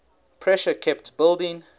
pressure kept building